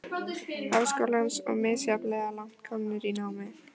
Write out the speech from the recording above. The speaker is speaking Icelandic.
Háskólans og misjafnlega langt komnir í námi.